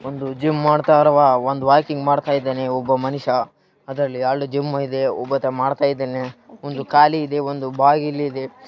ಒಂದು ಜಿಮ್‌ ಮಾಡುತ್ತಿರುವ ಒಂದು ವಾಕಿಂಗ್‌ ಮಾಡ್ತಾ ಇದ್ದಾನೆ ಒಬ್ಬ ಮನುಷ್ಯ ಅದ್ರಲ್ಲಿ ಎರಡು ಜಿಮ್‌ ಇದೆ ಒಬ್ಬತ ಮಾಡ್ತಾ ಇದ್ದಾನೆ ಒಂದು ಖಾಲಿ ಇದೆ ಒಂದು ಬಾಗಿಲು ಇದೆ.